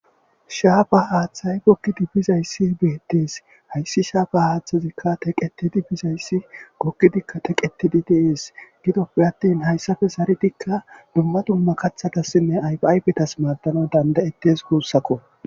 Shaapa haaththay goggidi bizaysi betees. Issi shaapa haaththi Teqetidi dizayssi goggidinne Teqetidi de'es.zaaretidikka dumma dumma kaathatasinne aypaaypetas maddes gussakko.